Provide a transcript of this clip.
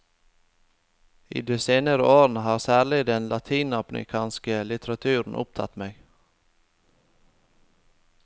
I de senere årene har særlig den latinamerikanske litteraturen opptatt meg.